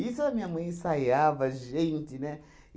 a minha mãe ensaiava, gente, né?